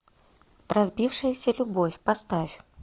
разбившаяся любовь поставь